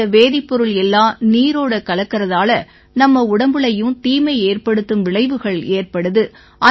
இந்த வேதிப்பொருள் எல்லாம் நீரோட கலக்கறதால நம்ம உடம்புலயும் தீமையேற்படுத்தும் விளைவுகள் ஏற்படுது